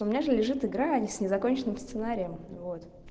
у меня же лежит игра ни с незаконченным сценарием вот